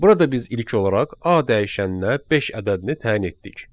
Burada biz ilk olaraq A dəyişəninə beş ədədini təyin etdik.